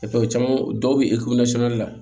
caman dɔw bɛ la